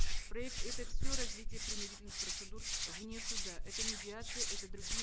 проект это все развитие примирительных процедур вне суда это медиация это другие